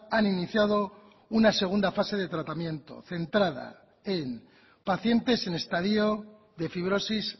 han iniciado una segunda fase de tratamiento centrada en pacientes en estadio de fibrosis